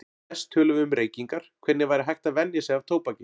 Næst tölum við um reykingar, hvernig væri hægt að venja sig af tóbaki.